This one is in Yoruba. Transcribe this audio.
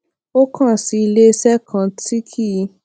ó kàn sí iléeṣé kan tí kì í